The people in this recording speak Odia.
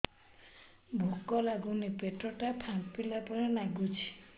ଭୁକ ଲାଗୁନି ପେଟ ଟା ଫାମ୍ପିଲା ପରି ନାଗୁଚି